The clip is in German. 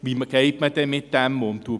Wie geht man damit um?